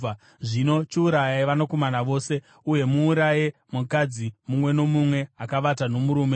Zvino chiurayai vakomana vose. Uye muuraye mukadzi mumwe nomumwe akavata nomurume,